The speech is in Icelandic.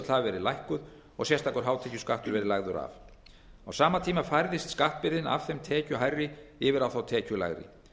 hafi verið lækkuð og sérstakur hátekjuskattur verið lagður af á sama tíma færðist skattbyrðin af þeim tekjuhærri yfir á þá tekjulægri